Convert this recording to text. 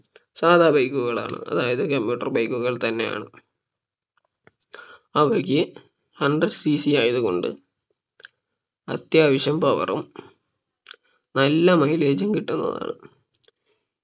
സാധാ bike കളാണ് അതായത് commuter bike കൾ തന്നെയാണ് അവയ്ക്ക് HundredCC ആയത് കൊണ്ട് അത്യാവശ്യം Power ഉം നല്ല mileage ഉം കിട്ടുന്നതാണ്